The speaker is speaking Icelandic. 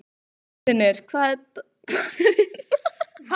Steinfinnur, hvað er í dagatalinu mínu í dag?